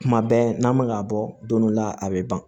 Kuma bɛɛ n'an man ŋ'a bɔ don dɔ la a bɛ ban